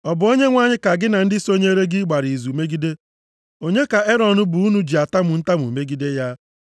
Ọ bụ Onyenwe anyị ka gị na ndị sonyeere gị gbara izu megide. Onye ka Erọn bụ unu ji atamu ntamu megide ya?”